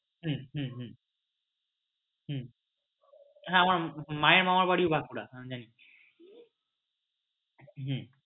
হম হম হম হম হ্যাঁ আমার মা এর মামা বাড়িও বাঁকুড়া হ্যাঁ আমি জানি হম